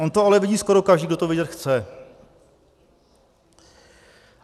On to ale vidí skoro každý, kdo to vidět chce.